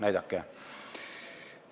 Näidake!